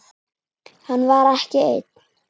Hann var ekki einn.